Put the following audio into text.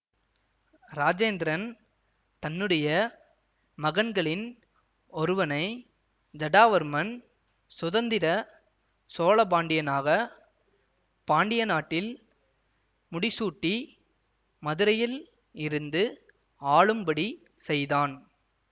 இராஜேந்திரன் தன்னுடைய மகன்களின் ஒருவனை ஜடாவர்மன் சுதந்திர சோழபாண்டியனாக பாண்டிய நாட்டில் முடிசூட்டி மதுரையில் இருந்து ஆளும்படி செய்தான்